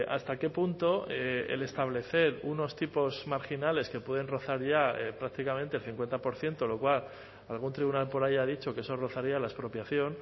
hasta qué punto el establecer unos tipos marginales que pueden rozar ya prácticamente el cincuenta por ciento lo cual algún tribunal por ahí ha dicho que eso rozaría la expropiación